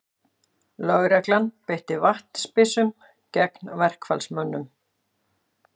Lögregla beitti vatnsbyssum gegn verkfallsmönnum